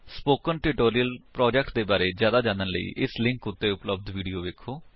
spoken tutorial project ਦੇ ਬਾਰੇ ਵਿੱਚ ਜਿਆਦਾ ਜਾਣਨ ਲਈ ਇਸ ਲਿੰਕ ਉੱਤੇ ਉਪਲੱਬਧ ਵਿਡਯੋ ਵੇਖੋ